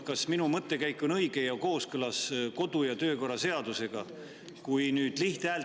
Kas minu mõttekäik on õige ja kooskõlas kodu‑ ja töökorra seadusega?